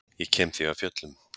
Ég kem því af fjöllum.